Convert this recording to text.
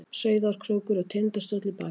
Sauðárkrókur og Tindastóll í baksýn.